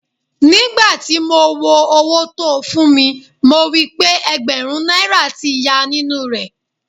Ní gbà ti mo wo owó tó fún mi, mo rí pé Ẹ̀gbẹ̀rún náírà tí yá nínú rẹ́.